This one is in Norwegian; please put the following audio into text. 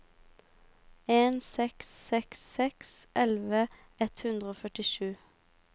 en seks seks seks elleve ett hundre og førtisju